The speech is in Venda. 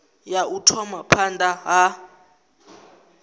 ya u thoma phanda ha